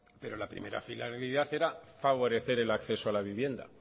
pero la primera finalidad era favorecer el acceso a la vivienda